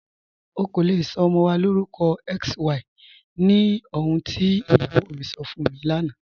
Ọ̀ kò lè sọ ọmọ wa lórúkọ XY ní ọ̀hùn tí iyáwó mi sọ́ fún mi lánà.